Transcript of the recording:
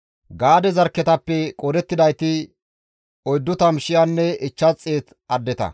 Gaade zarkketappe qoodettidayti 40,500 addeta.